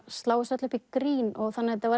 slá þessu öllu upp í grín þannig að þetta var